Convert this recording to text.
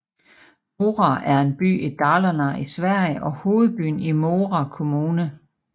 Mora er en by i Dalarne i Sverige og hovedbyen i Mora Kommune